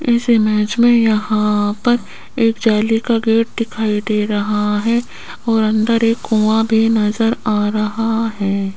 इस इमेज में यहां पर एक जाली का गेट दिखाई दे रहा है और अंदर एक कुआं भी नजर आ रहा है।